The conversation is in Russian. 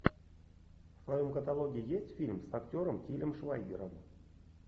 в твоем каталоге есть фильм с актером тилем швайгером